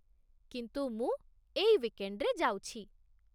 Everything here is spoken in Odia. କିନ୍ତୁ ମୁଁ ଏଇ ୱିକେଣ୍ଡ୍‌ରେ ଯାଉଛି ।